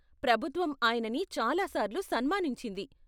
ప్రభుత్వం ఆయనని చాలా సార్లు సన్మానించింది.